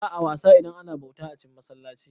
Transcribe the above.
Ba'a wasa idan ana bauta a cin masallaci